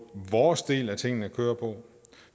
vores del af tingene kører på